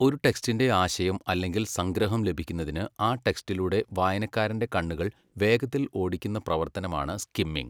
ഒരു ടെക്സ്റ്റിന്റെ ആശയം അല്ലെങ്കിൽ സംഗ്രഹം ലഭിക്കുന്നതിന് ആ ടെക്സ്റ്റിലൂടെ വായനക്കാരന്റെ കണ്ണുകൾ വേഗത്തിൽ ഓടിക്കുന്ന പ്രവർത്തനമാണ് സ്കിമ്മിംഗ്.